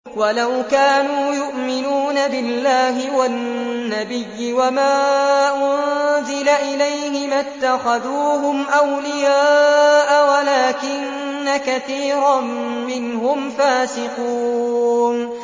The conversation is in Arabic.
وَلَوْ كَانُوا يُؤْمِنُونَ بِاللَّهِ وَالنَّبِيِّ وَمَا أُنزِلَ إِلَيْهِ مَا اتَّخَذُوهُمْ أَوْلِيَاءَ وَلَٰكِنَّ كَثِيرًا مِّنْهُمْ فَاسِقُونَ